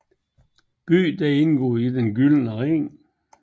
Byen indgår i Den Gyldne Ring